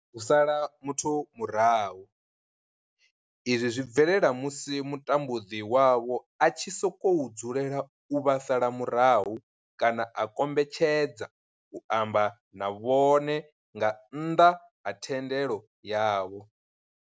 U sala muthu murahu, izwi zwi bvelela musi mutambudzi wavho a tshi sokou dzulela u vha sala murahu kana a kombetshedza u amba na vhone nga nnḓa ha thendelo yavho.